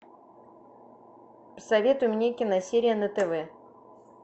посоветуй мне киносерия на тв